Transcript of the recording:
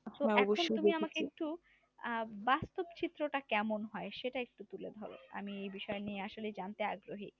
একটু আহ বাস্তব চিত্রটা কেমন হয় সেটা একটু তুলে ধরো আমি এ বিষয় নিয়ে আসলেই জানতে আগ্রহী।